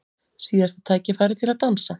Síðasta tækifærið til að dansa